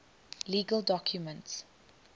legal documents